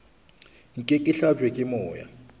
nke ke hlabje ke moya